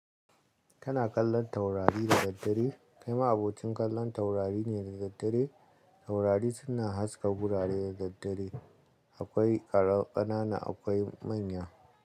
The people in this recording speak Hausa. Ka na kallon taurari da daddare. Kai ma abocin kallon taurari ne da daddare? Taurari suna haska gurare da daddare. Akwai ƙananan akwai manya.